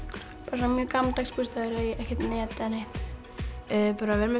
bara mjög gamaldags bústaður ekkert net eða neitt að vera með